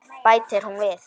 Bætir hún við.